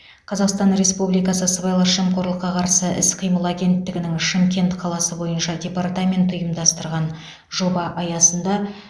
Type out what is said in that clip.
қазақстан республикасы сыбайлас жемқорлыққа қарсы іс қимыл агенттігінің шымкент қаласы бойынша департаменті ұйымдастырған жоба аясында